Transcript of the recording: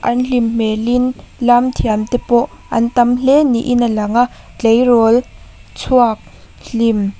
an hlim hmel in lam thiam te pawh an tam hle niin a lang a tleirawl chhuak hlim--